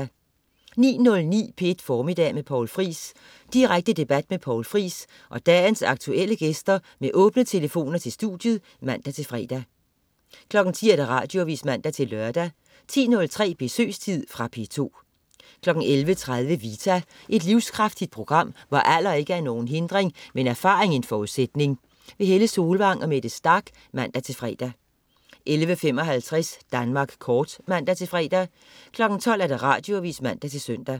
09.09 P1 Formiddag med Poul Friis. Direkte debat med Poul Friis og dagens aktuelle gæster med åbne telefoner til studiet (man-fre) 10.00 Radioavis (man-lør) 10.03 Besøgstid. Fra P2 11.30 Vita. Et livskraftigt program, hvor alder ikke er nogen hindring, men erfaring en forudsætning. Helle Solvang og Mette Starch (man-fre) 11.55 Danmark Kort (man-fre) 12.00 Radioavis (man-søn)